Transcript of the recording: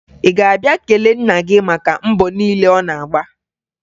Ị ga-abịa kelee nna gị maka mbọ niile ọ na-agba?